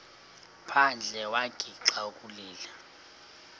phandle wagixa ukulila